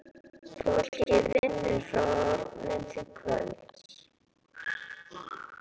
Fólkið vinnur frá morgni til kvölds.